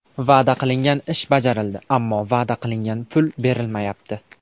Va’da qilingan ish bajarildi, ammo va’da qilingan pul berilmayapti.